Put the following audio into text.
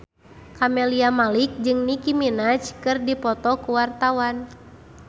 Camelia Malik jeung Nicky Minaj keur dipoto ku wartawan